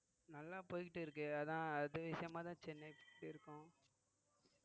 நல்லா போயிட்டு இருக்கு அதான் அது விஷயமாதான் சென்னைக்கு